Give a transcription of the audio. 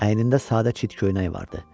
Əynində sadə çit köynək vardı.